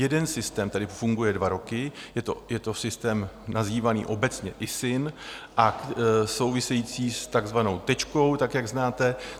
Jeden systém tady funguje dva roky, je to systém nazývaný obecně ISIN a souvisí s takzvanou Tečkou, tak jak znáte.